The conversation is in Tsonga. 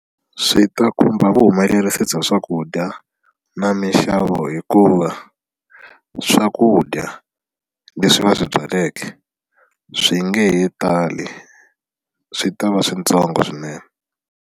Swi ta khumba vuhumelerisi bya swakudya na mixavo hikuva swakudya leswi va swi byaleke swi nge he tali swi ta va switsongo swinene.